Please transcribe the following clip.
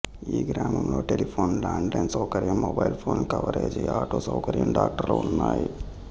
ఈ గ్రామంలో telephone land line సౌకర్యం మొబైల్ ఫోన్ కవరేజి ఆటో సౌకర్యం ట్రాక్టరు ఉన్నాయి